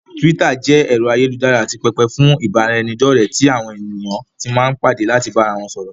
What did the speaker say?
Túwítà jẹ́ ẹ̀rọ ayélujára àti pẹpẹ fún ìbáraẹnidọ́ọ̀rẹ́ tí àwọn èèyàn tí máa n padà láti bá ara wọn sọ̀rọ̀